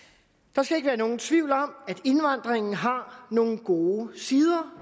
der skal ikke være nogen tvivl om at indvandringen har nogle gode sider